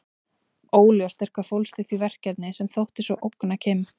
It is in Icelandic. Óljóst er hvað fólst í því verkefni sem þótti svo ógna Kim.